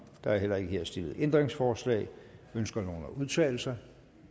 der er ikke stillet ændringsforslag ønsker nogen at udtale sig